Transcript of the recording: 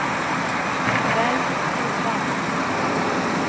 velg program